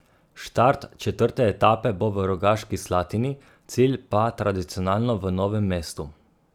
Štart četrte etape bo v Rogaški Slatini, cilj pa tradicionalno v Novem mestu.